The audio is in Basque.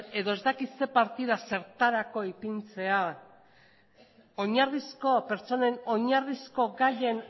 edo ez dakit zein partida zertarako ipintzea oinarrizko pertsonen oinarrizko gaien